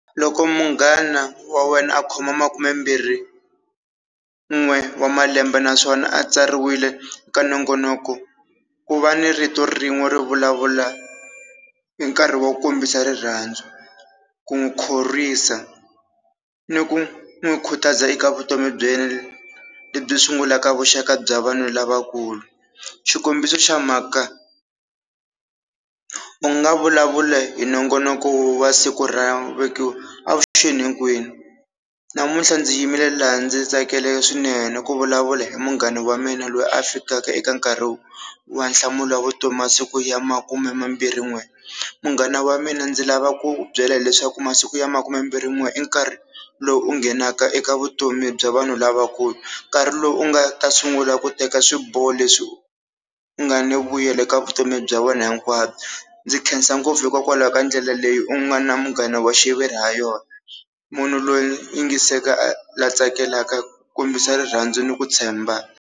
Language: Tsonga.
Loko munghana wa wena a khoma makume mbirhi n'we wa malembe naswona a tsariwile ka nongonoko ku va ni rito rin'we ri vulavula hi nkarhi wo kombisa rirhandzu ku n'wi khorwisa ni ku n'wi khutaza eka vutomi bya yena lebyi sungulaka vuxaka bya vanhu lavakulu, xikombiso xa mhaka u nga vulavula hi nongonoko wa siku ra avuxeni hinkwenu namuntlha ndzi yimile laha ndzi tsakile swinene ku vulavula hi munghana wa mina loyi a fikaka eka nkarhi wa nhlamulavutomi masiku ya makume mambirhi n'we, munghana wa mina ndzi lava ku ku byela hileswaku masiku ya makume mbirhi n'we i nkarhi lowu u nghenaka eka vutomi bya vanhu lavakulu nkarhi lowu u nga ta sungula ku teka swiboho leswi nga ni vuyelo eka vutomi bya wena hinkwabyo, ndzi khensa ngopfu hikokwalaho ka ndlela leyi u nga na munghana wa xiviri ha yona, munhu loyi yingiseka a la tsakelaka ku kombisa rirhandzu ni ku tshemba.